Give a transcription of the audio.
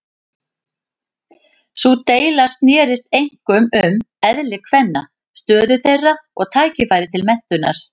Sú deila snerist einkum um eðli kvenna, stöðu þeirra og tækifæri til menntunar.